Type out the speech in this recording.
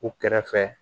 U kɛrɛfɛ